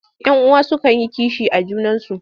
Yan uwa sukan yi kishi a junansu.